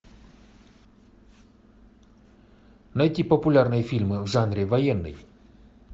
найти популярные фильмы в жанре военный